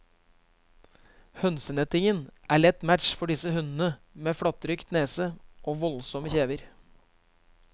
Hønsenettingen er lett match for disse hundene med flattrykt nese og voldsomme kjever.